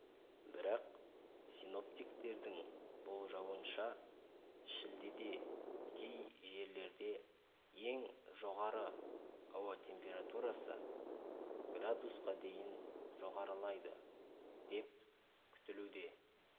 бірақ синоптиктердің болжауынша шілдеде кей жерлерде ең жоғары ауа температурасы градусқа дейін жоғарылайды деп күтілуде